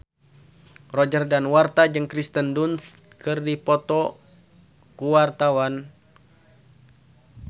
Roger Danuarta jeung Kirsten Dunst keur dipoto ku wartawan